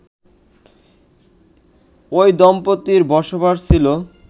ওই দম্পতির বসবাস ছিল